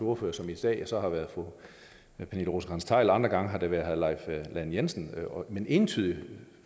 ordfører som i dag så har været fru pernille rosenkrantz theil og andre gange har det været herre leif lahn jensen men entydigt